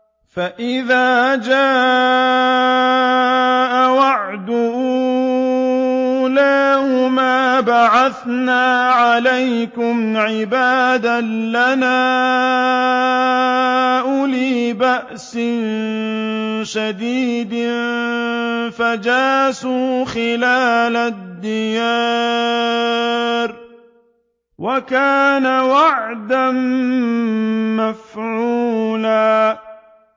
فَإِذَا جَاءَ وَعْدُ أُولَاهُمَا بَعَثْنَا عَلَيْكُمْ عِبَادًا لَّنَا أُولِي بَأْسٍ شَدِيدٍ فَجَاسُوا خِلَالَ الدِّيَارِ ۚ وَكَانَ وَعْدًا مَّفْعُولًا